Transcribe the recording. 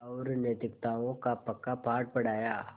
और नैतिकताओं का पक्का पाठ पढ़ाया